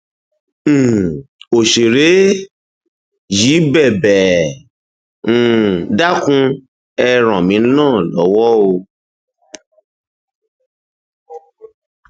um òṣèré yìí bẹbẹ ẹ um dákun ẹ ran èmi náà lọwọ o